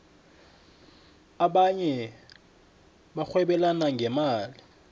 abanye barhwebelana ngemali